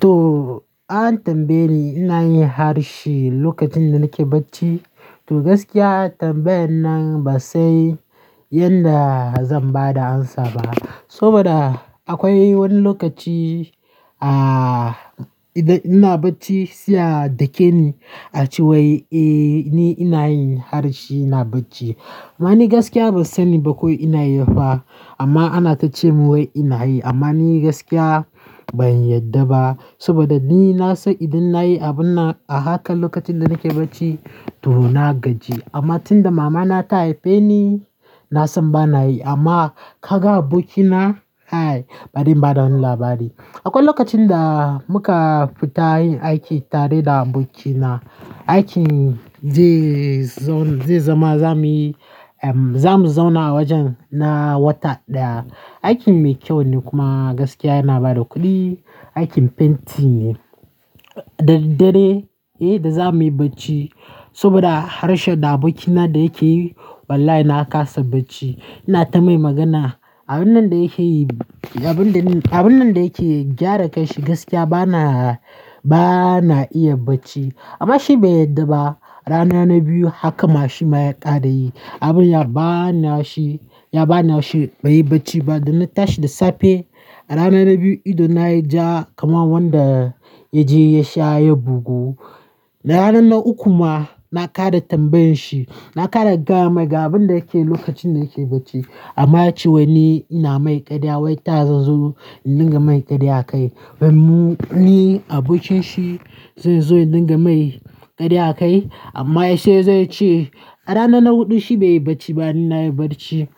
To an tambaye ni ina yin harshe lokacin da nake bacci. To gaskiya tambayan nan ba sai yadda zan ba da amsa ba. Saboda akwai wani lokaci ah, idan ina bacci, siya dake ni a cewa eh ni ina yin harshe ina bacci. Amma ni gaskiya ban sani ba ko ina yi ba, amma ana tacemun wai ina yi. Amma ni gaskiya ban yadda ba saboda ni na san idan na yi abun nan a hakan lokacin da nake bacci to na gaji. Amma tun da mama na ta haife ni, na san bana yi amma ka ga abokina ai bari ba da wani labari. Akwai lokacin da muka fita yin aiki tare da abokina, aikin zai, zai zama zamuyi, zamu zauna wajen na wata daya. Aikin mai kyau ne kuma gaskiya yana bada kuɗi, aikin fenti ne. Daddare eh da zamuyi bacci saboda harshen da abokina da yake yi wallahi na kasa bacci. Na tamma magana, abun nan da yake yi, abun da, abun nan da yake gyara kanshi gaskiya bana, bana iya bacci. Amma shi bai yadda ba. Rana na biyu haka ma shi ma ya kada yi. Abun ya bana shi, ya bana shi bai yi bacci ba. Da na tashi da safe rana na biyu ido na ya ja kamar wanda ya je ya sha ya bugu. Na ranan na uku ma na kara tambayan shi, na kara gama ga abin da yake yi lokacin da yake bacci. Amma ya ce wai ni ina mai karya wai ta zazo in dinga mai karya kai. Ban mu-- ni abokin shi zai zo ya dinga mai karya kai amma sai zai ce a rana na huɗu shi bai yi bacci ba dan nayi bacci.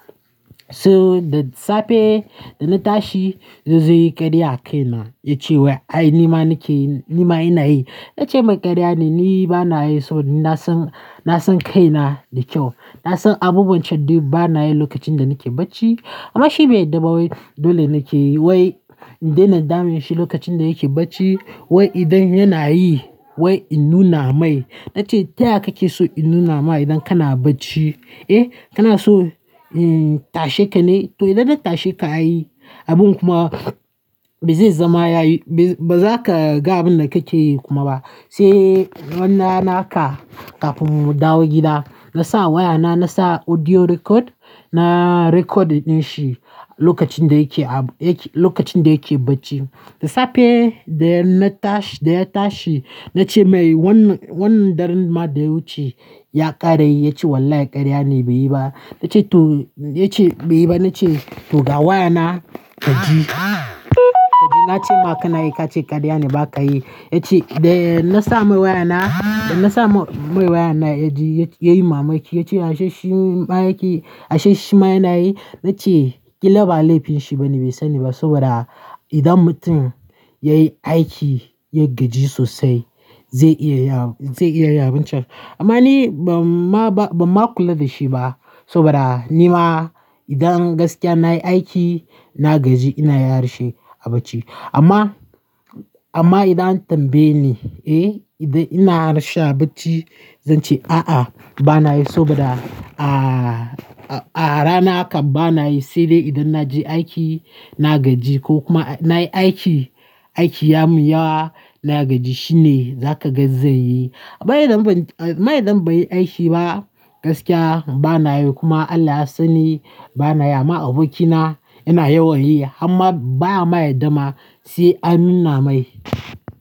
So da safe da na tashi ya zai yi karya a kaina. Ya ce wai ai ni ma nake yi, ni ma ina yi. Na ce mai karya ne ni bana yi so. Na san, na san kaina da kyau. Na san abubuwan can duk bana yi lokacin da nake bacci. Amma shi bai yarda ba wai dole nake yi wai in daina damun shi lokacin da yake bacci. Wai idan yana yi wai in nuna mai. Na ce taya kake so in nuna ma idan kana bacci? Eh kana so, hmm, tashe ka ne? To idan na tashe ka ayi abun kuma bazai zama ya yi, ba za ka ga abin da kake yi kuma ba. Sai wannan naka kafin mu dawo gida na sa wayana na sa audio record. Na record yin shi lokacin da yake, yake, lokacin da yake bacci. Da safe da na tashi, da ya tashi na ce mai wannan, wannan daren ma da ya wuce ya kara yi. Ya ce wallahi karya ne bai yi ba. Na ce to, ya ce bai yi ba. Na ce to ga wayana ka ji, ka ji na ce ma ka nayi ka ce karya ne ba ka yi. Ya ce da na sa mai wayana, da na sa mai wayana ya ji ya yi mamaki. Ya ce harshe shi ma yana yi. Na ce ƙila ba laifin shi ba ne bai sani ba saboda idan mutum yayi aiki, ya gaji sosai zai iya ya, zai iya yi abun can. Amma ni ban ma, ba, ban ma kula da shi ba saboda ni ma dan gaskiya nayi aiki na gaji ina yi harshe a bacci. Amma, amma idan an tambaye ni eh idan ina harshe a bacci zan ce a'a bana yi saboda a, a rana hakan bana yi sai dai idan na je aiki na gaji ko kuma nayi aiki, aiki ya miya wa na gaji shine zaka gani zai yi. Amma dan amma, dan bari aiki ba gaskiya bana yi kuma Allah ya sani bana yi amma abokina yana yawan yi amma ba ma yarda ma sai amina mai.